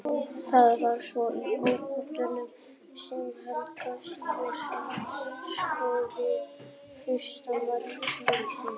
Það var svo í uppbótartíma sem Helgi Sigurðsson skoraði fyrsta mark leiksins.